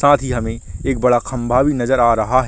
साथ ही हमे एक बड़ा खम्बा भी नज़र आ रहा है ।